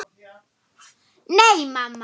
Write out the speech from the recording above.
Áttu kannski brauð?